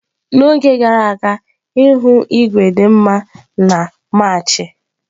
N'oge gara aga ihu igwe dị mma na Maachi.